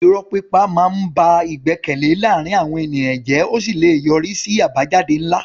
Irọ́ pípa máa ń ba ìgbẹ́kẹ̀lé láàárín àwọn ènìyàn jẹ́ ó sì lè yọrí sí àbájáde ńlá.